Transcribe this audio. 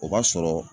O b'a sɔrɔ